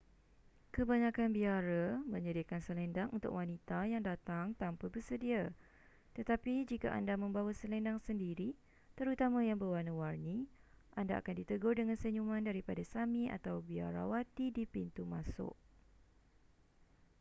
kebanyakan biara menyediakan selendang untuk wanita yang datang tanpa bersedia tetapi jika anda membawa selendang sendiri terutama yang berwarna-warni anda akan ditegur dengan senyuman daripada sami atau biarawati di pintu masuk